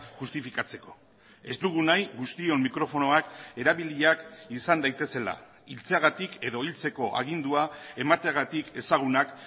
justifikatzeko ez dugu nahi guztion mikrofonoak erabiliak izan daitezela hiltzeagatik edo hiltzeko agindua emateagatik ezagunak